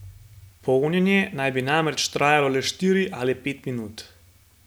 Polnjenje naj bi namreč trajalo le štiri ali pet minut.